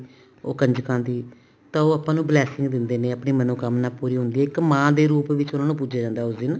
ਉਹ ਕੰਜਕਾਂ ਦੀ ਤਾਂ ਉਹ ਆਪਾਂ ਨੂੰ blessing ਦਿੰਦੇ ਨੇ ਆਪਣੀ ਮਨੋਕਾਮਨਾ ਪੂਰੀ ਹੁੰਦੀ ਆ ਇੱਕ ਮਾਂ ਦੇ ਰੂਪ ਵਿੱਚ ਪੁਜਿਆ ਜਾਂਦਾ ਉਹਨਾ ਨੂੰ ਉਸ ਦਿਨ